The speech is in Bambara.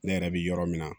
Ne yɛrɛ bɛ yɔrɔ min na